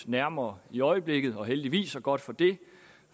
nærmere i øjeblikket og heldigvis og godt for det